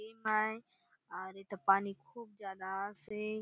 डेम आय आउर एथा पानी खूब ज्यादा आसे।